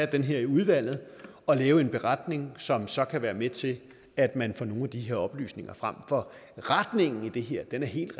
det her i udvalget og lave en beretning som så kan være med til at man får nogle af de her oplysninger frem for retningen i det her er helt